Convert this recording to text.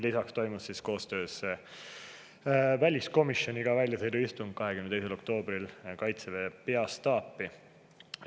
Lisaks toimus meil koostöös väliskomisjoniga 22. oktoobril väljasõiduistung Kaitseväe peastaabis.